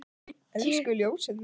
Elsku ljósið mitt.